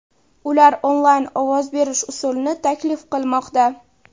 Ular onlayn ovoz berish usulini taklif qilmoqda.